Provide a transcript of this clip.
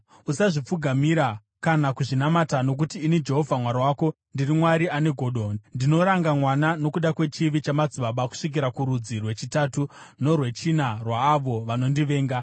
Usazvipfugamira kana kuzvinamata; nokuti ini, Jehovha Mwari wako, ndiri Mwari ane godo, ndinoranga vana nokuda kwechivi chamadzibaba kusvikira kurudzi rwechitatu norwechina rwaavo vanondivenga,